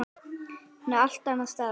Hún er allt annars staðar.